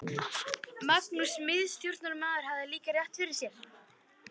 Magnús miðstjórnarmaður hafði líka rétt fyrir sér.